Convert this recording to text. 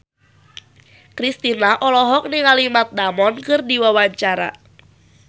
Kristina olohok ningali Matt Damon keur diwawancara